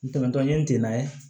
N tɛmɛntɔ ye n tɛ n'a ye